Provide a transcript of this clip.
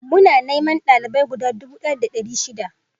Muna neman dalibeai gud dubu daya da dari shida